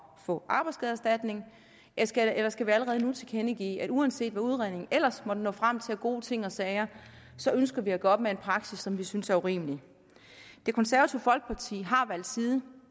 få arbejdsskadeerstatning eller skal vi allerede nu tilkendegive at uanset hvad udredningen ellers måtte nå frem til af gode ting og sager så ønsker vi at gøre op med en praksis som vi synes er urimelig det konservative folkeparti har valgt side